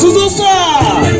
Hazırsız, dostlar!